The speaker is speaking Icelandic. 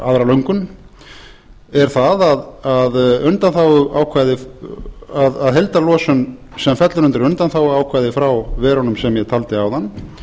aðra löngun er það að heildarlosun sem fellur undir undanþáguákvæðið frá verunum sem ég taldi áðan